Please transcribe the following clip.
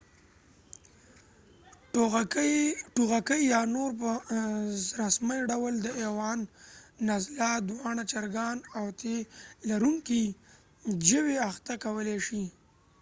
ټوغکي یا نور په رسمي ډول د اويوان نزله دوانړه چرګان او تی لرونکي ژوي اخته کولی شي